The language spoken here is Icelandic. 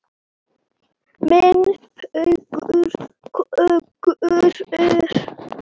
Minn hugur klökkur er.